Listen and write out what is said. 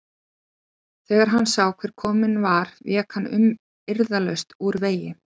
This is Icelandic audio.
Þegar hann sá hver kominn var vék hann umyrðalaust úr vegi.